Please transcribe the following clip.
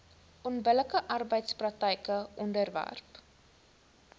onbillike arbeidspraktyke onderwerp